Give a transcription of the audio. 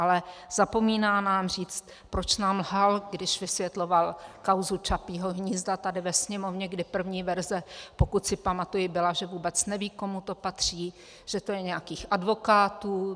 Ale zapomíná nám říct, proč nám lhal, když vysvětlovat kauzu Čapího hnízda tady ve Sněmovně, kdy první verze, pokud si pamatuji, byla, že vůbec neví, komu to patří, že to je nějakých advokátů.